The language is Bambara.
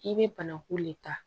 I bɛ banaku le ta